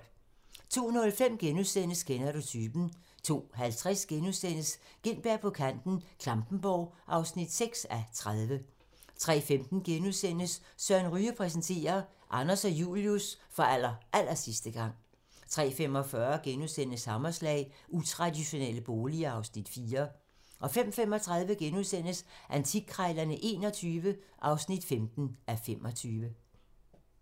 02:05: Kender du typen? * 02:50: Gintberg på kanten - Klampenborg (6:30)* 03:15: Søren Ryge præsenterer: Anders og Julius for allerallersidste gang * 03:45: Hammerslag - utraditionelle boliger (Afs. 4)* 05:35: Antikkrejlerne XXI (15:25)*